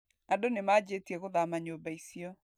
Andũ nĩmanjĩtie gũthama nyũmba icio.